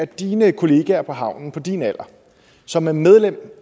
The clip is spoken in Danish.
dine kollegaer på havnen på din alder som er medlem